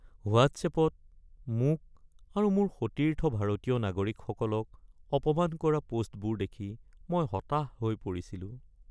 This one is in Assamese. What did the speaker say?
হোৱাট্ছএপত মোক আৰু মোৰ সতীৰ্থ ভাৰতীয় নাগৰিকসকলক অপমান কৰা প'ষ্টবোৰ দেখি মই হতাশ হৈ পৰিছিলোঁ। (ব্যক্তি ১)